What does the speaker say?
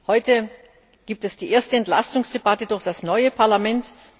Heute gibt es die erste Entlastungsdebatte durch das neue Parlament.